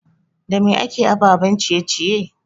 Da me akeyin ababen ciye ciye?